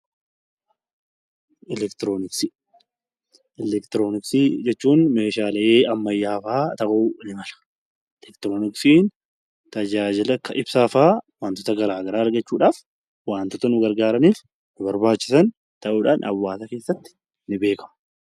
Eleektirooniksii Eleektirooniksii jechuun Meeshaalee ammayyaawaa ta'uu ni mala. Eleektirooniksiin tajaajiloota akka ibsaa fa'aa waantota garaagaraa waantota nu gargaaranii fi nu barbaachisan ta'uudhaan hawaasa keessatti ni beekamu.